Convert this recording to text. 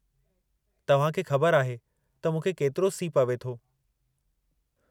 तव्हां खे ख़बर आहे त मूंखे केतिरो सीउ पवे थो।